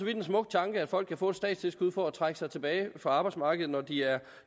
en smuk tanke at folk kan få et statstilskud for at trække sig tilbage fra arbejdsmarkedet når de er